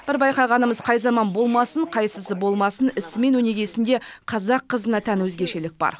бір байқағанымыз қай заман болмасын қайсысы болмасын ісімен өнегесінде қазақ қызына тән өзгешелік бар